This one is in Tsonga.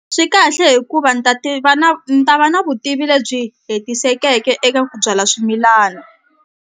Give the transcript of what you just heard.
Swi kahle hikuva ni ta ti va na ni ta va na vutivi lebyi hetisekeke eka ku byala swimilana.